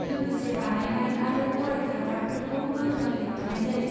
लोगोसे, बानायनाय आरो अरायथा गाबफोरखौ गोख्रोङै होबथानाय जायो।